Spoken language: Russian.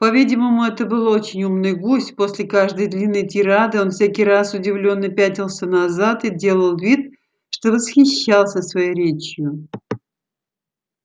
по-видимому это был очень умный гусь после каждой длинной тирады он всякий раз удивлённо пятился назад и делал вид что восхищался своею речью